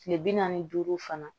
Kile bi naani ni duuru fana